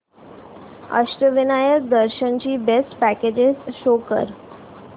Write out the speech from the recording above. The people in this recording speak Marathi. अष्टविनायक दर्शन ची बेस्ट पॅकेजेस शो कर